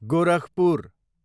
Gorakhpur